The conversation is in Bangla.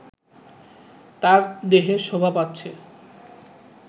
তার দেহে শোভা পাচ্ছে